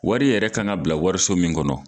Wari yɛrɛ kan ka bila wariso min kɔnɔ.